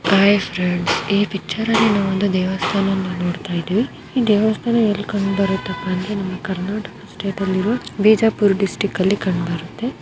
Hi friends ಈ ಪಿಚ್ಚರಲ್ಲಿ ನಾವು ಒಂದು ದೇವಸ್ಥಾನವನ್ನು ನಾವು ನೋಡ್ತಾ ಇದ್ದೀವಿ ಈ ದೇವಸ್ಥಾನ ಎಲ್ಲಿ ಕಾಣಬರುತ್ತೆ ಅಂದರೆ ನಮ್ಮ ಕರ್ನಾಟಕ ಸ್ಟೇಟಲ್ಲಿ ಇರೋ ಬಿಜಾಪುರ್ ಡಿಸ್ಟಿಕ್ ಅಲ್ಲಿ ಕಂಡು ಬರುತ್ತೆ.